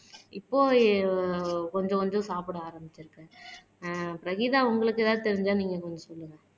இப்போ கொஞ்சம் கொஞ்சம் சாப்பிட ஆரம்பிச்சிருக்கேன் ஆஹ் பிரகீதா உங்களுக்கு ஏதாவது தெரிஞ்சா நீங்க கொஞ்சம் சொல்லுங்க